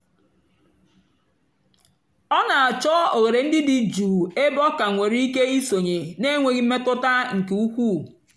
ọ na-àchọ́ òghèrè ndí dị́ jụ́ụ́ ébè ọ ka nwèrè ìké ìsònyè na-ènwèghị́ mmètụ́tà nkè ùkwuù.